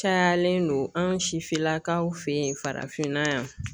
Cayalen don anw sifinlakaw fɛ ye farafinna yan.